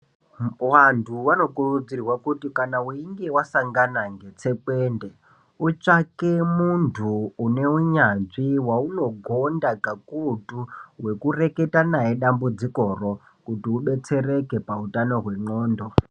Wandu wanokurudzirwa kuti kana weyinge wasangana ngetsekwende utsvake mundu unowunyanzvi waunogonda kakuyutu wekureketa naye dambudziko roo kuti ubetsereke pautano wengqondo.